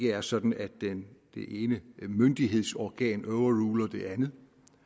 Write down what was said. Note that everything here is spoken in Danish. er sådan at det ene myndighedsorgan overruler det andet